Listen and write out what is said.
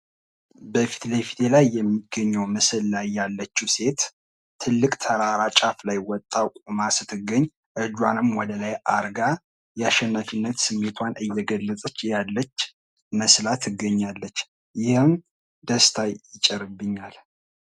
በፊት ለፊቴ ላይ የሚገኘው ምስል ላይ ያለችው ሴት ትልቅ ተራራ ጫፍ ላይ ወታ ቆማ፣ እጇን ወደ ላይ አድርጋ፣ የአናፊነት ስሜቷን እየገለጸች ያለች መስላ ትገኛለች። ይህም ደስታን ይጭርብኛል።